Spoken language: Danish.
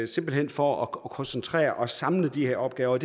simpelt hen for at koncentrere og samle de her opgaver